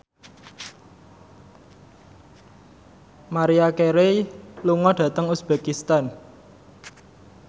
Maria Carey lunga dhateng uzbekistan